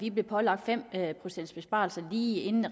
vi blev pålagt fem procents besparelser lige inden